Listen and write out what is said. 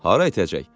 Hara edəcək?